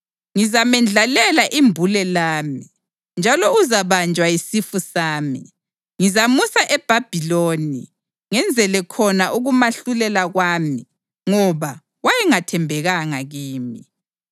Ngizamendlalela imbule lami, njalo uzabanjwa yisifu sami. Ngizamusa eBhabhiloni, ngenzele khona ukumahlulela kwami ngoba wayengathembekanga kimi.